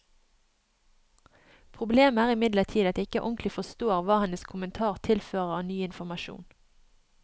Problemet er imidlertid at jeg ikke ordentlig forstår hva hennes kommentar tilfører av ny informasjon.